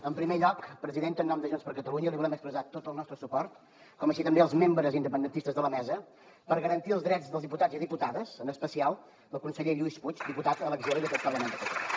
en primer lloc presidenta en nom de junts per catalunya li volem expressar tot el nostre suport com així també als membres independentistes de la mesa per garantir els drets dels diputats i diputades en especial del conseller lluís puig diputat a l’exili d’aquest parlament de catalunya